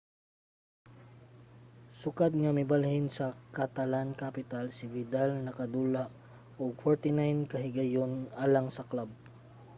sukad nga mibalhin sa catalan-capital si vidal nakadula og 49 ka higayon alang sa club